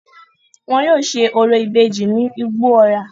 Wọn yóò se orò ìbejì ní Igbó-ọrà.